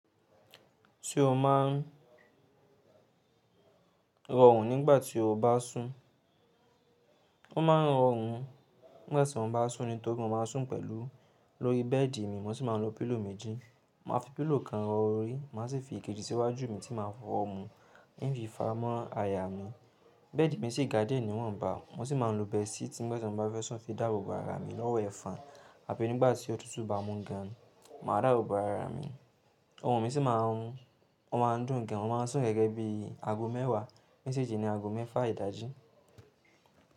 Tí o máa ń rọrùn nígbà tí o bá sùn. Ó máa ń rọrùn nígbà tí mo bá sùn nítorí mo máa ń sùn pẹ̀lú lórí bẹ́ẹ̀dì mi mo sì máa ń lo pílò méjì. Màá fi pílò kan rọ orí, màá sì fi èkejì síwájú mi tí màá fọ́ wọmú ń fifaramọ́ àyà mi. Bẹ́ẹ̀dì mi sì gá díẹ̀ níwọ̀nba, mo sì máa ń lo bẹẹsì tí nígbà tí mo bá fẹ́ sùn fi dáàbò bo ara mi lọ́wọ́ ẹ̀fọn àbí nígbà tí òtútù bá mú gan, màá dáàbò bo ara mi. Orun mi sì máa ń, ó máa ń dùn gan, ó máa ń sùn gẹ́gẹ́ bí i ago mẹ́wàá nsi jí ni ago mẹ́fà ìdájí.